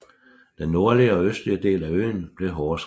Den nordlige og østlige del af øen blev hårdest ramt